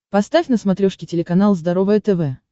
поставь на смотрешке телеканал здоровое тв